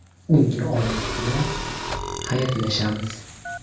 Unga omad tilab, xayrlashamiz.